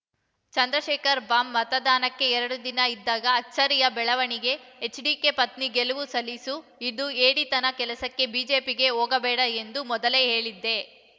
Chandrashekhar bomb ಮತದಾನಕ್ಕೆ ಎರಡು ದಿನ ಇದ್ದಾಗ ಅಚ್ಚರಿಯ ಬೆಳವಣಿಗೆ ಎಚ್‌ಡಿಕೆ ಪತ್ನಿ ಗೆಲುವು ಸಲೀಸು ಇದು ಹೇಡಿತನದ ಕೆಲಸ ಬಿಜೆಪಿಗೆ ಹೋಗಬೇಡ ಎಂದು ಮೊದಲೇ ಹೇಳಿದ್ದೆ